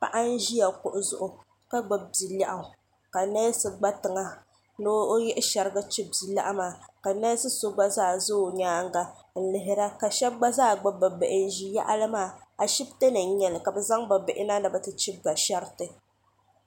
paɣ' n ʒɛya kuɣ' zuɣ' ka gbabi bia lɛɣigu ka nɛsi gba tiŋa ni oyihi shɛriga chibi bia lɛɣigu maa ka nɛsi so gba zaa ʒɛ o nyɛŋa n lihira ka shɛbi gba zaa gbabi be bihi ʒɛya a shɛbitɛ ni nyɛ li ka be zaŋ be bihina ni be ti chibi ba ahɛritɛ